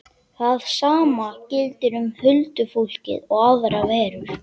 Það sama gildir um huldufólkið og aðrar verur.